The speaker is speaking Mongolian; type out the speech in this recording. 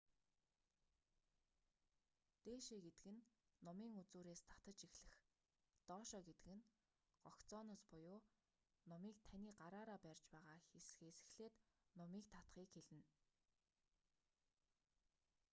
дээшээ гэдэг нь нумын үзүүрээс татаж эхлэх доошоо гэдэг нь гогцооноос нумыг таны гараараа барьж байгаа хэсэг эхлээд нумыг татахыг хэлнэ